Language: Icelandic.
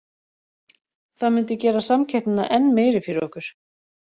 Það myndi gera samkeppnina enn meiri fyrir okkur.